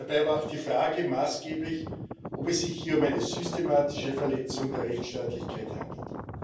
Dabei war auch die Frage maßgeblich, ob es sich hier um eine systematische Verletzung der Rechtsstaatlichkeit handelt.